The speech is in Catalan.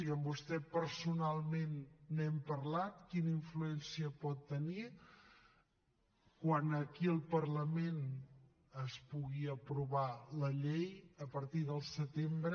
i amb vostè personalment n’hem parlat quina influència pot tenir quan aquí al parlament es pugui aprovar la llei a partir del setembre